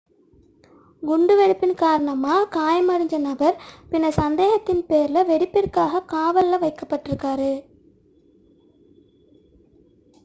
குண்டு வெடிப்பின் காரணமாக காயமடைந்த நபர் பின்னர் சந்தேகத்தின் பேரில் வெடிப்பிற்காக காவலில் வைக்கப்பட்டார்